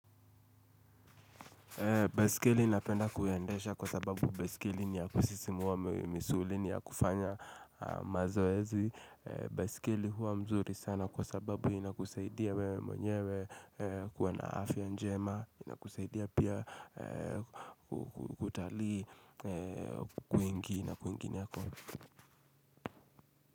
Baisikeli napenda kuyendesha kwa sababu baisikeli ni ya kusisimuwa misuli ni ya kufanya mazoezi. Besikeli huwa mzuri sana kwa sababu inakusaidia wewe mwenyewe kuwa na afiya njema. Inakusaidia pia kutalii kwingi na kwingineko.